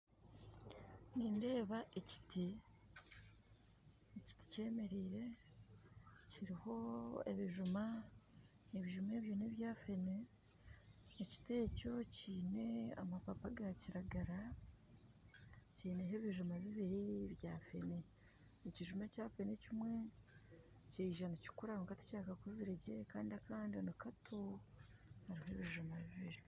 Nindeeba eekiti kyemereire kiriho ebijuma ebijuma ebyo nebya fene, ekiti ekyo kiine amapapa gankiragara kineeho ebijuma bibiri bya fene ekijuma ekyafene ekimwe kiija nikikura kwonka tikikakuzire gye Kandi Kandi nikato hariho ebijuma bibiri.